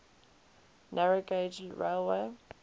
narrow gauge railway